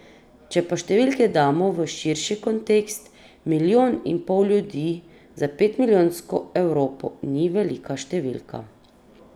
Če pa številke damo v širši kontekst, milijon in pol ljudi za petstomilijonsko Evropo ni velika številka.